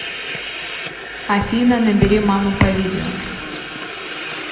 афина набери маму по видео